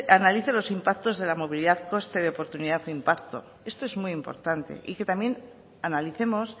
analice los impactos de la movilidad coste de oportunidad de impacto esto es muy importante y que también analicemos